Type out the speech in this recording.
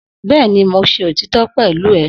Bẹ́ẹ̀ni, mo ṣe òtítọ́ pẹ̀lú ẹ